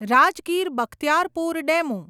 Rajgir Bakhtiyarpur DEMU